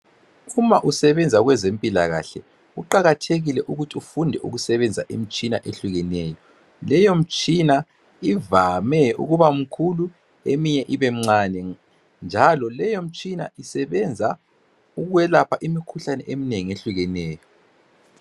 Uma usebenza kwezempilakahle kuqakathekile ukuthi ufunde ukusebenzisa imtshina eyehlukeneyo. Leyo mtshina ivame ukuba mkhulu, eminye ibemncane njalo leyo mtshina isebenza ukwelapha imikhuhlane eminengi ehlukeneyo.